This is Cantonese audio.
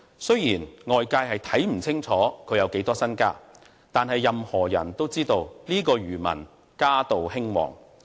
雖然外界看不清楚他有多少身家，但任何人都知道這名漁民家道興旺。